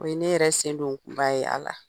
O ne yɛrɛ sen don kun ba ye a la